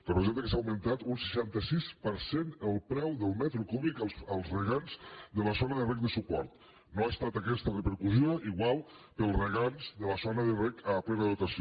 representa que s’ha augmentat un seixanta sis per cent el preu del metre cúbic als regants de la zona de reg de suport no ha estat aquesta repercussió igual per als regants de la zona de reg a plena dotació